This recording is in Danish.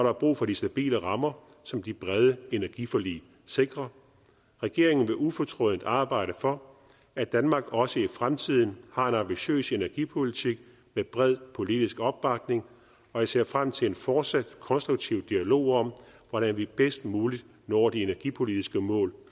er brug for de stabile rammer som de brede energiforlig sikrer regeringen vil ufortrødent arbejde for at danmark også i fremtiden har en ambitiøs energipolitik med bred politisk opbakning og jeg ser frem til en fortsat konstruktiv dialog om hvordan vi bedst muligt når de energipolitiske mål